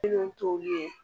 Kelen tɔw ye